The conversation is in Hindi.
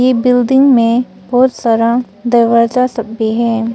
ये बिल्डिंग में बहुत सारा दरवाजा सब भी है।